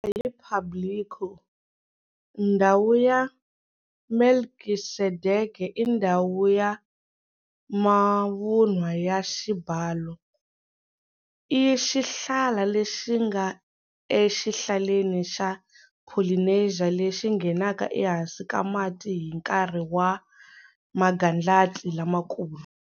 Hi Público, Ndhawu ya Melkisedeke i ndhawu ya mavunwa ya xibalo. I xihlala lexi nga exihlaleni xa Polynesia lexi nghenaka ehansi ka mati hi nkarhi wa magandlati lamakulu.